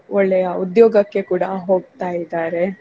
ಒಳ್ಳೆಯ ಉದ್ಯೋಗಕ್ಕೆ ಕೂಡಾ ಹೋಗ್ತಾ ಇದ್ದಾರೆ.